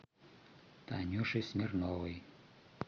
танюше смирновой